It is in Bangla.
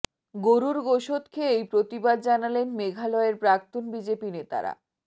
গরুর গোশত খেয়েই প্রতিবাদ জানালেন মেঘালয়ের প্রাক্তন বিজেপি নেতারা